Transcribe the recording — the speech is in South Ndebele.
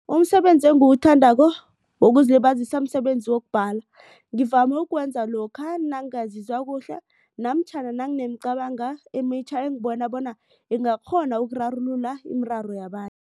Umsebenzi engiwuthandako wokuzilibazisa msebenzi wokubhala. Ngivame ukuwenza lokha nangingazizwa kuhle namtjhana nanginemicabango emitjha engibona bonyana ingakghona ukurarulula imiraro